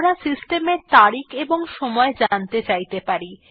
আমরা সিস্টেম এ তারিখ এবং সময় জানতে চাইতে পারি